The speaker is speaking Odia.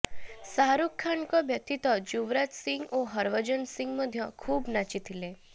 ଶାହାରୁଖଙ୍କ ବ୍ୟତୀତ ଯୁବରାଜ ସିଂହ ଓ ହରଭଜନ ସିଂହ ମଧ୍ୟ ଖୁବ୍ ନାଚି ଥିଲେ